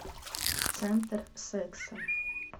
центр секса